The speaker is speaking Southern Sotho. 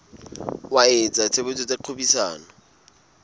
wa etsa tshebetso tsa kgwebisano